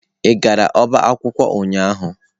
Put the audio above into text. Ị gara ọba akwụkwọ ụnyahụ?